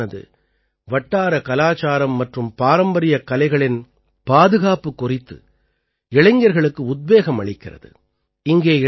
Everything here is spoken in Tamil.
இந்த கிளப்பானது வட்டார கலாச்சாரம் மற்றும் பாரம்பரியக் கலைகளின் பாதுகாப்புக் குறித்து இளைஞர்களுக்கு உத்வேகம் அளிக்கிறது